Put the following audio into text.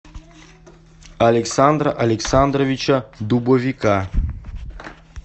александра александровича дубовика